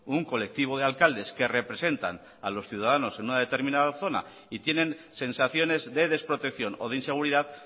un colectivo de alcaldes que representan a los ciudadanos en una determinada zona y tienen sensaciones de desprotección o de inseguridad